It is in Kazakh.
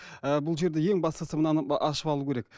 ы бұл жерде ең бастысы мынаны ашып алу керек